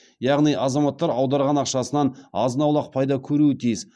яғни азаматтар аударған ақшасынан азын аулық пайда көруі тиіс